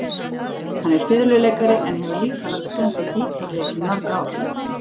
Hann er fiðluleikari en hefur líka lagt stund á gítarleik í mörg ár.